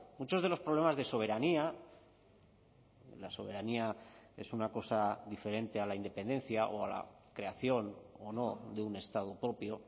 muchos de los problemas de soberanía la soberanía es una cosa diferente a la independencia o a la creación o no de un estado propio